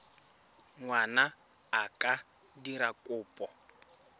ngwana a ka dira kopo